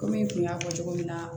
Komi i kun y'a fɔ cogo min na